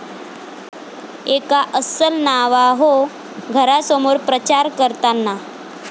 एका अस्सल नावाहो घरासमोर प्रचार करताना